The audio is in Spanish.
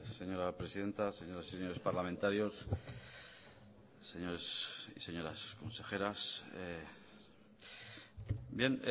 señora presidenta señoras y señores parlamentarios señores y señoras consejeras bien